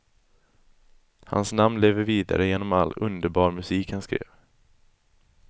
Hans namn lever vidare genom all underbar musik han skrev.